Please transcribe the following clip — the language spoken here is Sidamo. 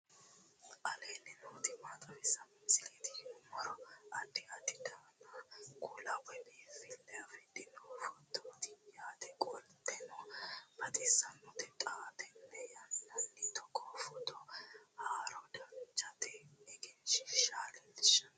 aleenni nooti maa xawisanno misileeti yinummoro addi addi dananna kuula woy biinfille amaddino footooti yaate qoltenno baxissannote xa tenne yannanni togoo footo haara danchate egenshshiisha leellisanno